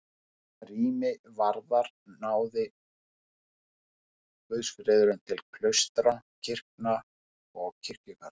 Hvað rými varðar náði guðsfriðurinn til klaustra, kirkna og kirkjugarða.